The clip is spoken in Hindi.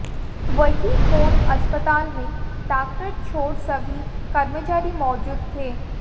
वही कोन अस्पताल में डॉक्टर छोड़ सभी कर्मचारी मौजूद थे